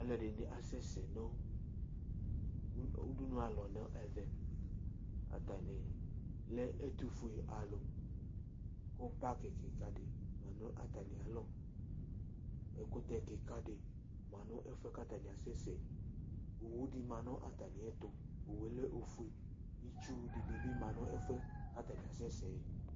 Ɔlu di ni asɛ sɛ nu udunu alɔ nu ɛvɛ ata ni lɛ ɛtu fue alu ku paki kika di lɛ nu ata mi alɔ, ɛkutɛ kika di ma nu ɛfuɛ ku ata ni asɛsɛ yɛ, owu di ma nu ata miɛtu, Owue lɛ ofue, itsu wu di bi ma nu ɛfuɛ ka ta ni asɛsɛ yɛ